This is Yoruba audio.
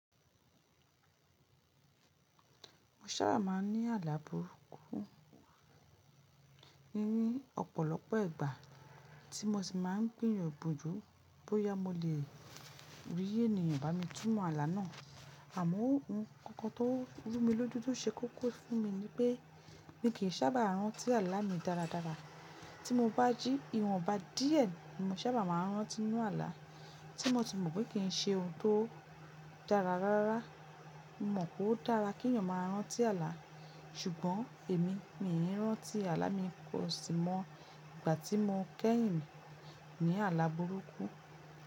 Mo sábà má n ni àlà burúkú, níí ọ̀pọlọpọ ìgbà ti mo sì ma n gbìyàn bojju bóyá mo lè ri ènìyàn ba mi túnmọ̀ àlà náà. Àmó oun koko tó rú mi lójú tó se kókó fún mi ni pé mi kìí sábà rántí àlá mi dáradára. Tí mo bá jí ìwọnba díè ni mo sábà máa n rántí n'nú àlá tí mo ti mò pé kìn se oun tó dára rárá. Mo mo pó dara k'èèyà máa ranti ala sugbon Emi mi in ranti ala mi ko si mo igba ti mo kehin ni ala buruku.